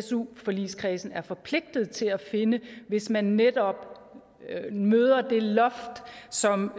su forligskredsen er forpligtet til at finde hvis man netop møder det loft som